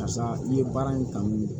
Karisa i ye baara in kanu